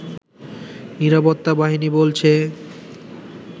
নিরাপত্তা বাহিনী বলছে